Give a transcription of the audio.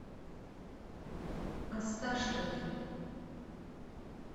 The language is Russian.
осташкове